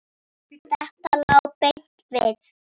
Þetta lá beint við.